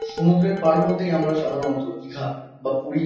সমুদ্রের পাড় বলতেই আমরা সাধারণত দিঘা বা পুরী।